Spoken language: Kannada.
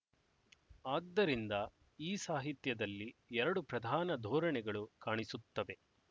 ಆದ್ದರಿಂದ ಈ ಸಾಹಿತ್ಯದಲ್ಲಿ ಎರಡು ಪ್ರಧಾನ ಧೋರಣೆಗಳು ಕಾಣಿಸುತ್ತವೆ